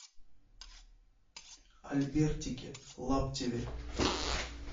альбертике лаптеве